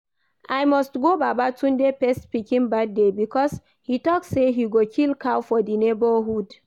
I must go Baba Tunde first pikin birthday because he talk say he go kill cow for the neighborhood